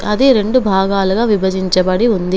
అది రెండు భాగాలుగా విభజించబడి ఉంది.